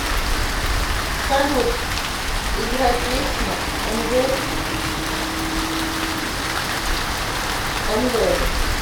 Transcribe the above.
салют играй песня энвэри энвэри